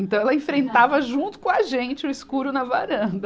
Então ela enfrentava junto com a gente o escuro na varanda.